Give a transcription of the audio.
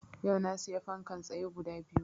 Yau na siya fankan tsaye guda biyu